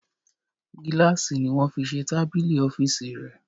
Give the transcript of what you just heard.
Gílàsì ni wọ́n fi se tábìlì ọ́fìsì rẹ̀